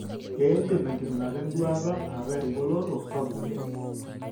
Keidim enkiminata enduata ataa engoloto sapuk oleng.